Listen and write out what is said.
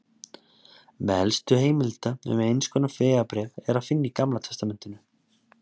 Meðal elstu heimilda um eins konar vegabréf er að finna í Gamla testamentinu.